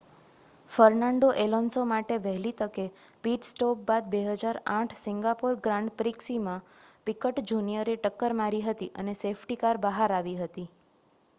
Fernando Alonso માટે વહેલી તકે પિટ સ્ટોપ બાદ 2008 સિંગાપોર ગ્રાંડ પ્રીક્ષમાં પિકટ જુનિયરે ટક્કર મારી હતી અને સેફ્ટી કાર બહાર આવી હતી